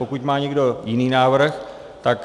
Pokud má někdo jiný návrh, tak...